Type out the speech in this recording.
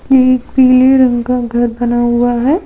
ये एक पीले रंग का घर बना हुआ है।